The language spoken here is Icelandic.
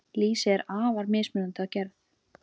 Lýsi er afar mismunandi að gerð.